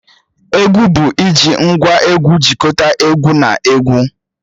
Egwu bụ iji ngwá egwu jikọta egwu na egwu